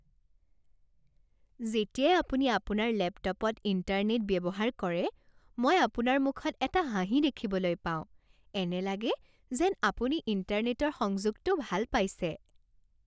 যেতিয়াই আপুনি আপোনাৰ লেপটপত ইণ্টাৰনেট ব্যৱহাৰ কৰে মই আপোনাৰ মুখত এটা হাঁহি দেখিবলৈ পাওঁ। এনে লাগে যেন আপুনি ইণ্টাৰনেটৰ সংযোগটো ভাল পাইছে!